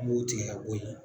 An b'o tigɛ ka bɔ yen.